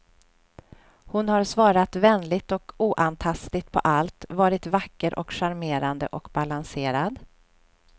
Hon har svarat vänligt och oantastligt på allt, varit vacker och charmerande och balanserad.